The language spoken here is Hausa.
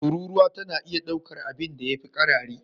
Tururuwa tana iya daukar abinda ya fi karari